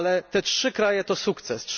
Te trzy kraje do sukces.